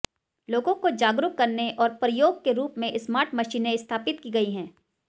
लोगों को जागरूक करने और प्रयोग के रूप में स्मार्ट मशीनें स्थापित की गई हैं